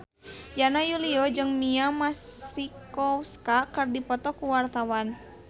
Yana Julio jeung Mia Masikowska keur dipoto ku wartawan